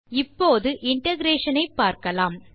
இப்போது இன்டகிரேஷன் ஐ பார்க்கலாம்